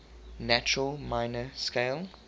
natural minor scale